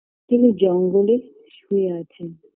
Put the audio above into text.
তিনি জঙ্গলে শুয়ে আছেন